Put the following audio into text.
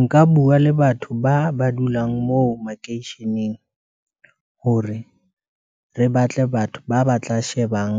Nka bua le batho ba, ba dulang moo makeisheneng, hore re batle batho ba ba tla shebang,